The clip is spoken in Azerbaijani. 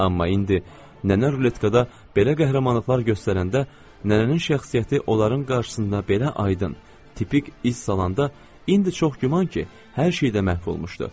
Amma indi nənə ruletkada belə qəhrəmanlıqlar göstərəndə nənənin şəxsiyyəti onların qarşısında belə aydın, tipik iz salanda indi çox güman ki, hər şey də məhv olmuşdu.